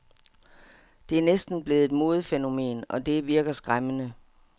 Det er næsten blevet et modefænomen, og det virker skræmmende.